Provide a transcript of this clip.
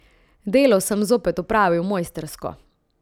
Delo sem zopet opravil mojstrsko.